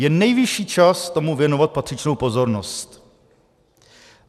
Je nejvyšší čas tomu věnovat patřičnou pozornost.